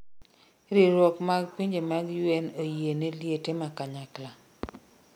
riwruok mag pinje mag UN oyieni liete makanyakla